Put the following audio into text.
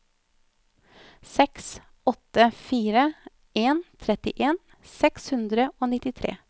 seks åtte fire en trettien seks hundre og nittitre